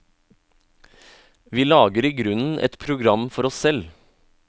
Vi lager i grunnen et program for oss selv.